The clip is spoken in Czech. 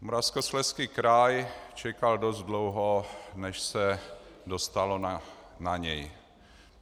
Moravskoslezský kraj čekal dost dlouho, než se dostalo na něj.